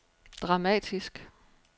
dramatisk